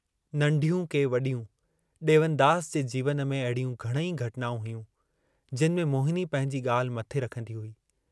नंढियूं के वॾियूं ॾेवनदास जे जीवन में अहिड़ियूं घणेई घटनाऊं हुयूं, जिनि में मोहिनी पंहिंजी ॻाल्हि मथे रखंदी हुई।